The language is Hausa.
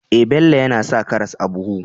Eh, Bello yAna sa karas a buhu